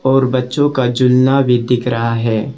और बच्चों का जूना भी दिख रहा है।